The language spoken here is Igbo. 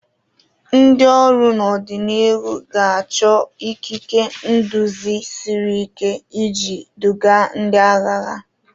Ndị ọrụ n'ọdịnihu ga-achọ ikike nduzi siri ike iji duga ndị agha ha.